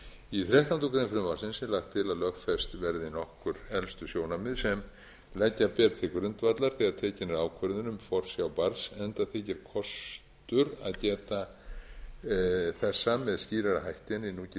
í þrettándu greinar frumvarpsins er lagt til að lögfest verði nokkur helstu sjónarmið sem leggja beri til grundvallar þegar tekin er ákvörðun um forsjá barns enda þykir kostur að geta þessa með skýrari hætti en í núgildandi